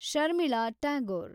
Sharmila Tagore